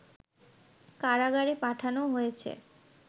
কারাগারে পাঠানো হয়েছে